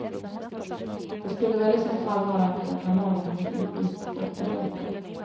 Det skulle väl i så fall vara medan man lagar något indiskt gott att äta.